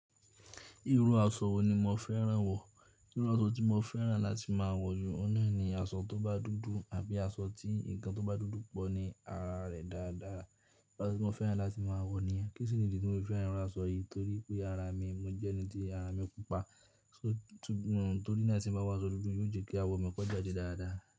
Irú aṣọ wo ni mo fẹ́ràn wọ̀? Irú aṣọ tí mo fẹ́ràn láti máa wọ̀ jù ọ́n náà ni aṣọ tó bá dúdú àbí aṣọ tí ǹkan tó bá dúdú pọ̀ ní ara rẹ̀ dáadáa. Asọ tí mo fẹ́ràn láti máa wọ̀ ni yẹn. Kí sì ní ìdí tí mo fẹ́ràn irú aṣọ yìí? Torí pé ara mi, mo jẹ́ ẹni tí ara mi pupa, ṣó, torí náà tí mo bá wọ aṣọ dúdú yóò jẹ́ kí awọ mi kọjá dé dáadáa.